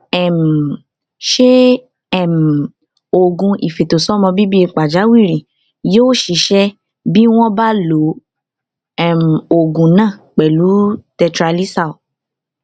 um ṣé um oògùn ìfètòsọmọbíbí pàjáwìrì yóò ṣiṣẹ bí wọn bá lo um oògùn náà pẹlú tetralysal